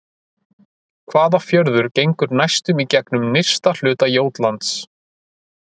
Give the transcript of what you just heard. Hvaða fjörður gengur næstum í gegnum nyrsta hluta Jótlands?